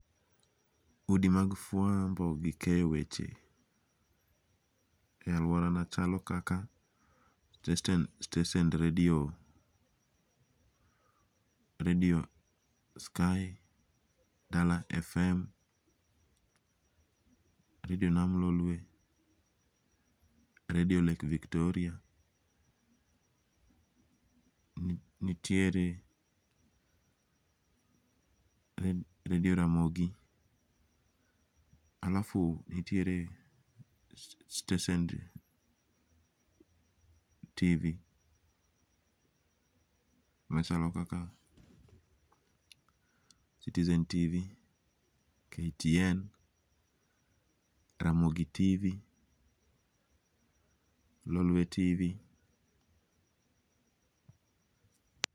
Udi mag fwambo gi keyo weche, e aluorana chalo kaka stesend radio radio Sky, Dala Fm, radio Namb Lolwe, radio Lake Victoria nitiere radio Ramogi alafu nitiere stesend Tv machalo kaka Citizen Tv, Ktn, Ramogi Tv, Lolwe Tv.